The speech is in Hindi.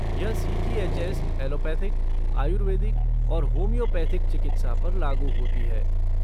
यह सी.जी.एच.एस. एलोपैथिक, आयुर्वेदिक और होम्योपैथिक चिकित्सा पर लागू होती है।